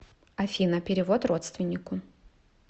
афина перевод родственнику